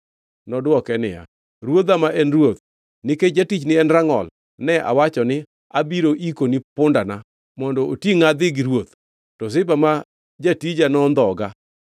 Nodwoke niya, “Ruodha ma en ruoth, nikech jatichni en rangʼol, ne awacho ni, ‘Abiro ikoni pundana mondo otingʼa adhi gi ruoth.’ To Ziba ma jatija nondhoga.